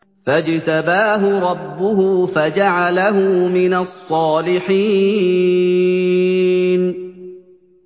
فَاجْتَبَاهُ رَبُّهُ فَجَعَلَهُ مِنَ الصَّالِحِينَ